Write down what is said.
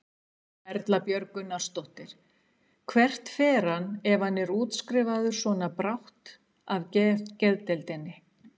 Erla Björg Gunnarsdóttir: Hvert fer hann ef hann er útskrifaður svona brátt af af geðdeild?